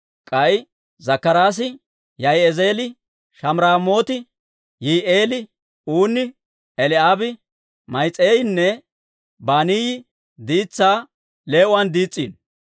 K'ay Zakkaraasi, Yaa'izi'eeli, Shamiraamooti, Yihi'eeli, Uunni, Eli'aabi, Ma'iseeyinne Banaayi diitsaa lee"uwaan diis's'iino.